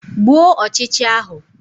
Gbuo ọchịcha ahụ!